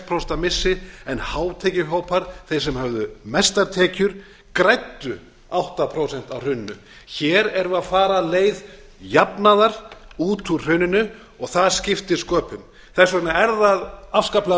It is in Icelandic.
prósent missi en hátekjuhópar þeir sem höfðu mestar tekjur græddu átta prósent á hruninu hér erum við að fara leið jafnaðar út úr hruninu og það skiptir sköpum þess vegna er það afskaplega